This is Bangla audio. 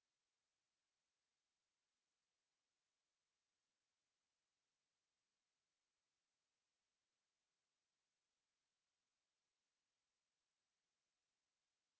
আলফাqqada তে বেশী দৈর্ঘ্যের ব্যবধান আছে